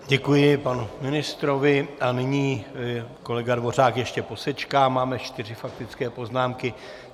Děkuji panu ministrovi a nyní - kolega Dvořák ještě posečká - máme čtyři faktické poznámky.